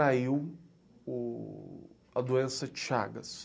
Contraiu a doença de Chagas.